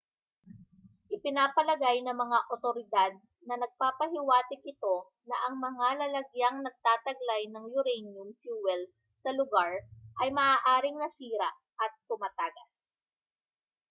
ipinapalagay ng mga otoridad na nagpapahiwatig ito na ang mga lalagyang nagtataglay ng uranium fuel sa lugar ay maaaring nasira at tumatagas